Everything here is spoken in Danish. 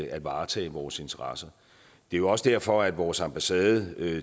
at varetage vores interesser det er jo også derfor vores ambassade